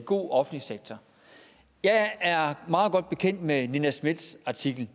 god offentlig sektor jeg er meget godt bekendt med nina smiths artikel